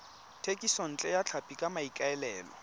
thekisontle ya tlhapi ka maikaelelo